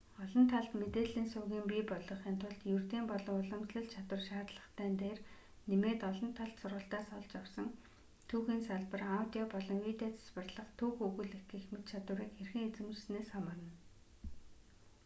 олон талд мэдээлэлийн сувгийн бий болгохын тулд ердийн болон уламжлалт чадвар шаардлагатай дээр нэмээд олон талт сургалтаас олж авсан түүхийн сабар аудио болон видео засварлах түүх өгүүлэх гэх мэт чадварыг хэрхэн эзэмшисэнээс хамаарна